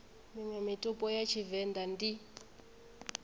miṅwe mitupo ya vhavenḓa ndi